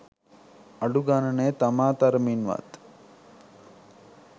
අඩු ගණනේ තමා තරමින් වත්